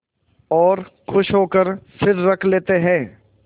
और खुश होकर फिर रख लेते हैं